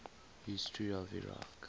history of iraq